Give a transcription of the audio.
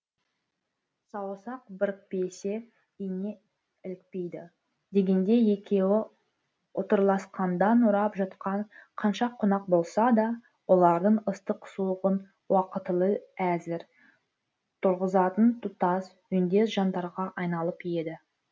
саусақ бірікпесе ине ілікпейді дегендей екеуі ұтырласқанда нұрап жатқан қанша қонақ болса да олардың ыстық суығын уақытылы әзір тұрғызатын тұтас үндес жандарға айналып еді